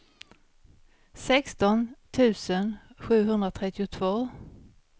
sexton tusen sjuhundratrettiotvå